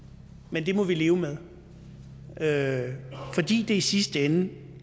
men det må vi leve med med fordi det i sidste ende